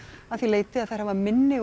að því leyti að þær hafa minni og